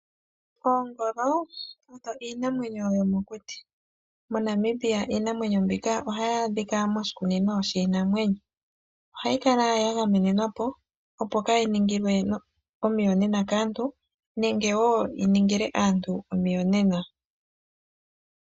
Oongolo oyo iinamwenyo yomokuti. MoNamibia iinamwenyo mbika ohayi adhika moshikunino shiinamwenyo ohayi kala ya gamenemwapo opo kayi ningilwe omiyonena kaantu nenge woo yi ningile aantu omiyonena.